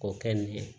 K'o kɛ nin ye